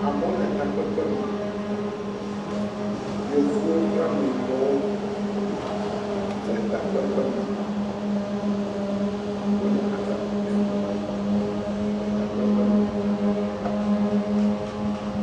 Amewo le takpekpe me. Yevuwo kple ameyibɔwo le takpekpe me. Wole aɖaŋu ɖem le takpekpe me.